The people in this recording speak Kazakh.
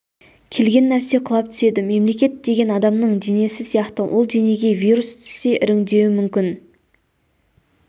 келген нәрсе құлап түседі мемлекет деген адамның денесі сияқты ол денеге вирус түссе іріңдеуі мүмкін